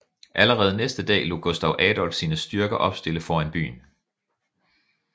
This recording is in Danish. Allerede næste dag lod Gustav Adolf sine styrker opstille foran byen